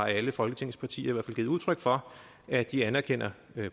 alle folketingets partier i givet udtryk for at de anerkender